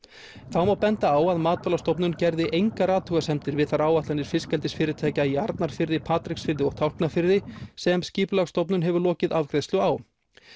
þá má benda á að Matvælastofnun gerði engar athugasemdir við þær áætlanir fiskeldisfyrirtækja í Arnarfirði Patreksfirði og Tálknafirði sem Skipulagsstofnun hefur lokið afgreiðslu á